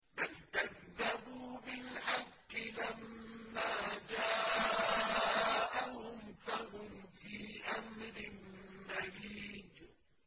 بَلْ كَذَّبُوا بِالْحَقِّ لَمَّا جَاءَهُمْ فَهُمْ فِي أَمْرٍ مَّرِيجٍ